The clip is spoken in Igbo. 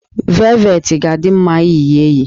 Velvetị ga-adị mma iyi ya eyi